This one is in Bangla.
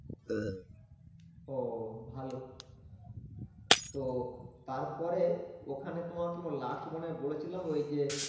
ও ভালো, তো তারপরে ওখানে তোমাকে last মনে হয় বলেছিলাম ওই যে